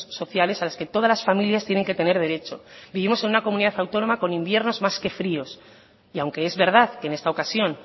sociales a las que todas las familias tienen que tener derecho vivimos en una comunidad autónoma con inviernos más que fríos y aunque es verdad que en esta ocasión